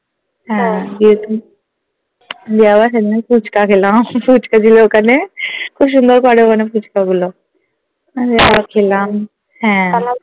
গিয়ে তো দিয়ে আবার সেদিন ফুচকা খেলাম ফুচকা ছিল ওখানে খুব সুন্দর করে ওখানে ফুচকা গুলো আহ গিয়ে আবার খেলাম হ্যাঁ